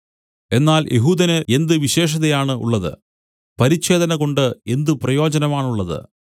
എന്നാൽ യെഹൂദന് എന്ത് വിശേഷതയാണുള്ളത് പരിച്ഛേദനകൊണ്ട് എന്ത് പ്രയോജനമാണുള്ളത്